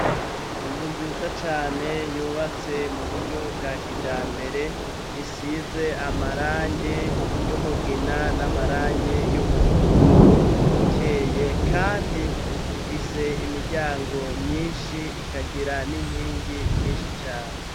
Inzu nziza cane yubatse mu buryo bwa kija mbere isize amarange y'umugina n'amarange y'umuhondo ukeye, kandi ifise imiryango myinshi ikagira n'inkingi nyinshi cane.